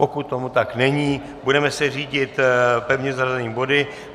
Pokud tomu tak není, budeme se řídit pevně zařazenými body.